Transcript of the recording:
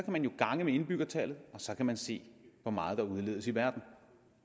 man jo gange med indbyggertallet og så kan man se hvor meget der udledes i verden